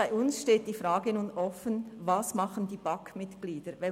Bei uns ist nun die Frage offen, was die BAK-Mitglieder tun.